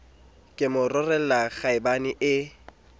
ke mo rolela kgaebane e